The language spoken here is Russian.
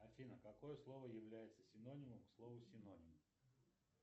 афина какое слово является синонимом к слову синоним